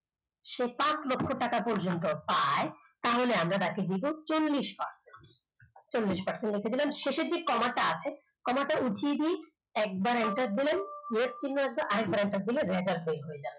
পাঁচ লক্ষ টাকা পর্যন্ত পায় তাহলে আমরা তাকে দেব চল্লিশ percent চল্লিশ percent তাকে দিলাম শেষের যে কমা টা আছে কমা টা উঠিয়ে দিই একবার enter দিলাম x চিহ্ন আসবে আর একবার enter দিলে